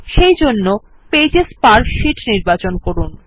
সেজন্য pages per sheet নির্বাচন করুন